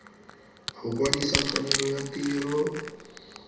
go kwadisa tshwanelo ya tiro